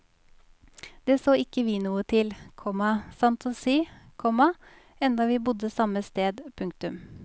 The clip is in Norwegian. Det så ikke vi noe til, komma sant å si, komma enda vi bodde samme sted. punktum